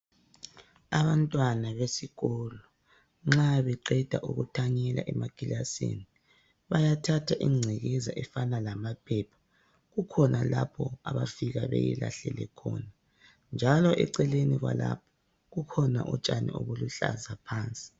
Abantwana besikolo nxa beqeda ukuthanyela emakilasini, bayathatha ingcekeza efana lamaphepha, kukhona lapho abafika beyilahlele khona njalo eceleni kwalapho, kukhona utshani obuluhlaza phansi.